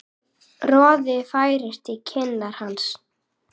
Roði færist í kinnar hans.